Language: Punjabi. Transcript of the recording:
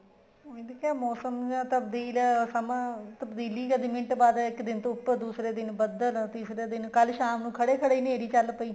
ਉਹੀ ਤੇ ਕਿਹਾ ਮੋਸਮ ਤਾਂ ਤਬਦੀਲ ਤਬਦੀਲੀ ਮਿੰਟ ਬਾਅਦ ਇੱਕ ਦਿਨ ਤੋ ਉੱਪਰ ਦੂਸਰੇ ਦਿਨ ਬੱਦਲ ਤੀਸਰੇ ਦਿਨ ਕੱਲ ਸ਼ਾਮ ਨੂੰ ਖੜੇ ਖੜੇ ਹਨੇਰੀ ਚੱਲ ਪਈ